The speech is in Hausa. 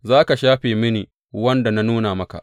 Za ka shafe mini wanda na nuna maka.